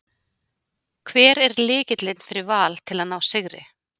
Hver er lykillinn fyrir Val til að ná sigri?